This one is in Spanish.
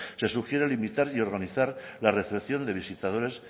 se sugiere limitar y organizar la recepción de visitadores